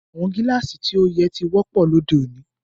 Awọn Gíláásì ti o yẹ̀ ti wọ̀pọ̀ lọdẹ́ ọ̀ní.